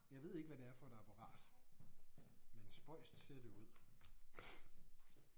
Jeg ved ikke hvad det er for et apparat. Men spøjst ser det ud